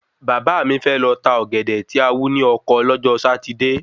Bàbá mi fẹ́ lọ tá Ọ̀gẹ̀dẹ̀ tí a wú ni Ọkọ lọ́jọ́ Satide